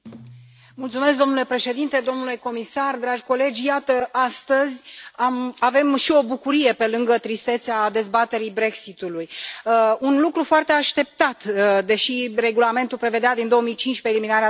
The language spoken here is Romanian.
Domnule președinte, domnule comisar, dragi colegi, iată astăzi avem și o bucurie, pe lângă tristețea dezbaterii Brexit ului un lucru foarte așteptat, deși regulamentul prevedea din 2015 eliminarea tarifelor.